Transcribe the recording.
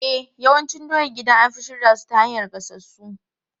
E, yawancin doyan gida an fi shirya su ta hanyar gasassu.